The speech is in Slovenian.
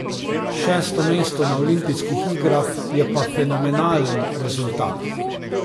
Šesto mesto na olimpijskih igrah je pa fenomenalen rezultat.